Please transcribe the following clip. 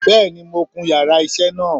Bẹ́ẹ̀ni mo kun yàrá isé náà